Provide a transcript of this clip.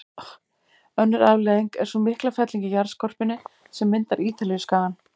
Önnur afleiðing er sú mikla felling í jarðskorpunni sem myndar Ítalíuskagann.